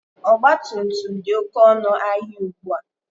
Ọgbatumtum dị oke ọnụ ahịa ugbua.